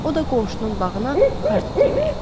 O da qonşunun bağına xartut yeməyə.